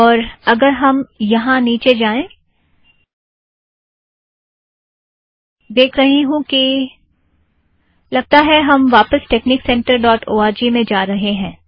और अगर हम यहाँ नीचे जाएं देख रही हूँ कि हम वापस technic center dot O R G में जा रहें हैं